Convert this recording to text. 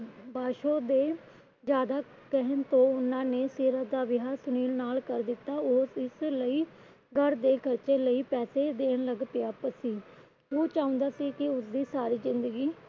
ਪਾਸ਼ੋ ਦੇ ਜਿਆਦਾ ਕਹਿਣ ਤੇ ਉਹਨਾਂ ਨੇ ਸੀਰਤ ਦਾ ਵਿਆਹ ਸੁਨੀਲ ਨਾਲ ਕਰ ਦਿੱਤਾ। ਉਹ ਇਸ ਲਈ ਘਰ ਦੇ ਖਰਚੇ ਲਈ ਪੈਸੇ ਦੇਣ ਲੱਗ ਪਿਆ ਸੀ । ਉਹ ਚਾਹੁੰਦਾ ਸੀ ਕੀ ਉਸਦੀ ਸਾਰੀ ਜਿੰਦਗੀ